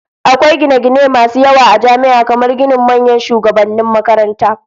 Akwai gine-gine masu yawa a jami'a, kamar ginin manyan shugabannin makaranta.